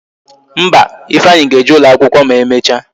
Mba, Ifeanyi ga-eje ụlọ akwụkwọ ma emecha